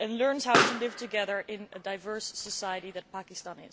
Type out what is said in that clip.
and learns how to live together in the diverse society which is Pakistan.